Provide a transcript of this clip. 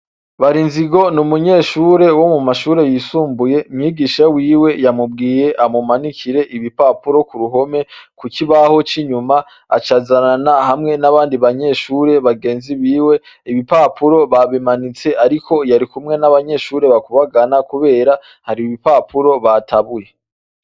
Barinzigo ni umunyeshure wo mu mashure yisumbuye. Umwigisha wiwe yamubwiye amumanikire ibipapuro ku ruhome ku kibaho c’inyuma aca azanana hamwe n’abandi banyeshure bagenzi biwe. Ibipapuro babimanitse ariko yari kumwe n’abanyeshure bakubagana kubera hari ibipapuro batabuye.